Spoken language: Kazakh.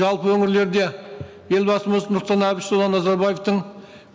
жалпы өңірлерде елбасымыз нұрсұлтан әбішұлы назарбаевтың